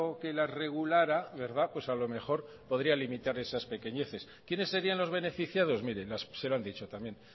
que la regulara verdad pues a lo mejor podría limitar esas pequeñeces quiénes serían los beneficiados mire se lo han dicho también